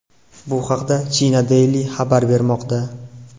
Bu haqda China Daily xabar bermoqda .